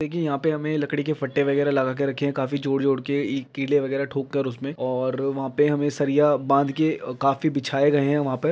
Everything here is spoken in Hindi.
की यहाँ पे हमें लकड़ी के फट्टे वगैरा लगा के रखे हैं काफी जोड़ जोड़ के ई कीलें वगैरा ठोक कर उसमें और वहाँ पे हमें सरिया बांध के अ काफी बिछाए गए है वहाँ पे।